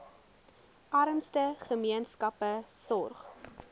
armste gemeenskappe sorg